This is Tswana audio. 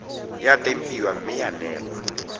ya tempiwa mme ya neelwa